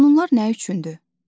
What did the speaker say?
Qanunlar nə üçündür?